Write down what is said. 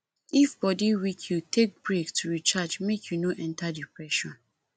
if body weak you take brake to recharge make you no enter depression